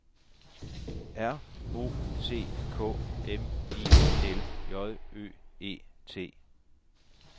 R O C K M I L J Ø E T